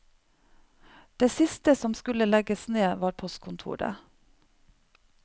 Det siste som skulle legges ned, var postkontoret.